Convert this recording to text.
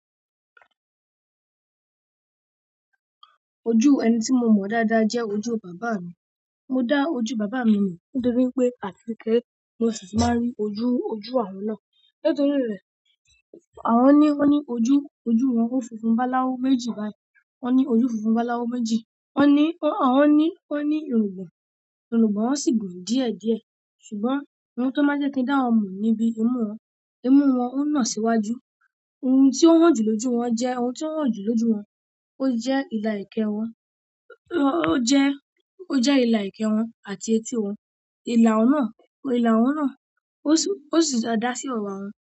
Ojú ẹni tí mo mọ dáadáa jẹ ojú bàbá mi. Mo dá ojú bàbá mi mọ nítorí pé àtí kékeré mi ṣì máa ń rí ojú, ojú àwọn náà. Nítorí rẹ̀, àwọn nìyí wọ́n ní ojú, ojú wọn ó funfun báláwu méjì báyìí. Wọ́n ní ojú funfun báláwọ méjì. Wọ́n ní, wọn ní, wọ́n ní irùngbọ̀n, irùngbọ̀n wọn sì gùn díẹ̀ díẹ̀. Ṣùgbọ́n ohun tó máa ń jẹ́ kí n dá wọn mọ̀ ni bí imú wọn, imú wọn ó na síwájú. Ohun tí ó hàn jù lójú wọn jẹ́ ohun tí ó hàn jù lójú wọn. Ó jẹ́ ìlà ẹekẹ wọn. Ó jẹ́, ó jẹ́ ìlà ẹekẹ wọn àti etí wọn. Ìlà wọn náà, ìlà wọn náà ó sì, ó sì dáa da sí ewá wọn.